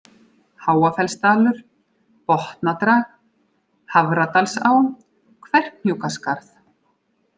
Háafellsdalur, Botnadrag, Hafradalsá, Kverkhnjúkaskarð